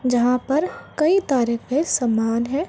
जहाँ पर कई तरह के सामान है।